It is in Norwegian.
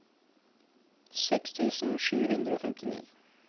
seks tusen sju hundre og femtini